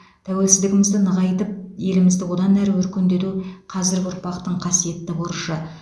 тәуелсіздігімізді нығайтып елімізді одан әрі өркендету қазіргі ұрпақтың қасиетті борышы